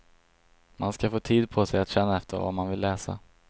Man ska få tid på sig att känna efter vad man vill läsa.